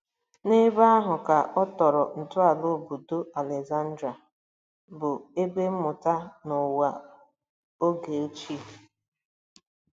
N'ebe ahụ ka ọ tọrọ ntọala obodo Alezandrịa, bụ ebe mmụta na ụwa oge ochie.